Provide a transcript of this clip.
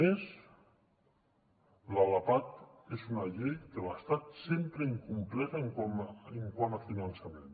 a més la lapad és una llei que l’estat sempre ha incomplert quant a finançament